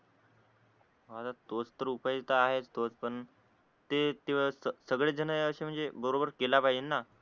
तोच तर उपवाय इथे आहेच पण ते त तेस सगळेच जण असे म्हणजे बरोबर केला पाहिजे ना